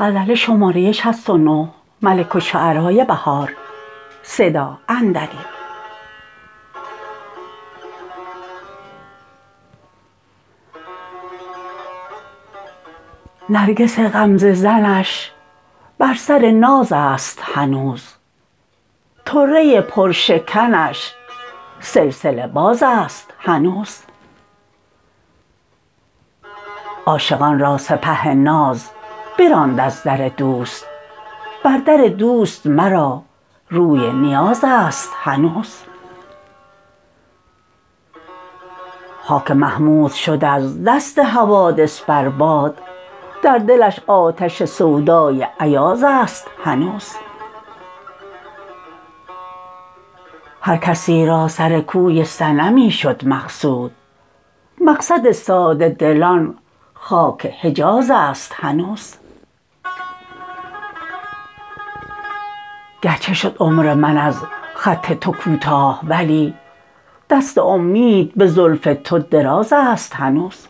نرگس غمزه زنش بر سر ناز است هنوز طره پرشکنش سلسله باز است هنوز عاشقان را سپه ناز براند از در دوست بر در دوست مرا روی نیاز است هنوز خاک محمود شد از دست حوادث بر باد در دلش آتش سودای ایاز است هنوز هر کسی را سر کوی صنمی شد مقصود مقصد ساده دلان خاک حجاز است هنوز گرچه شد عمر من از خط توکوتاه ولی دست امید به زلف تو دراز است هنوز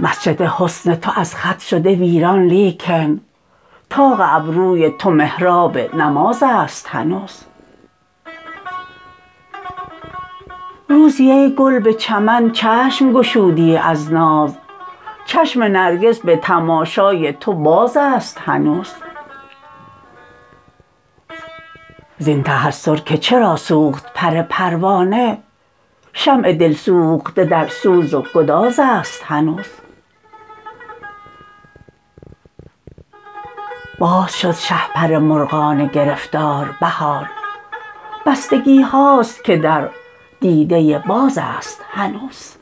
مسجد حسن تو از خط شده ویران لیکن طاق ابروی تو محراب نماز است هنوز روزی ای گل به چمن چشم گشودی از ناز چشم نرگس به تماشای تو باز است هنوز زین تحسرکه چرا سوخت پرپروانه شمع دلسوخته در سوز وگداز است هنوز باز شد شهپر مرغان گرفتار بهار بستگی هاست که در دیده ی باز است هنوز